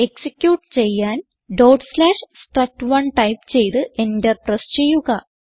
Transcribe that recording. execute ചെയ്യാൻ struct1 type ചെയ്ത് enter press ചെയ്യുക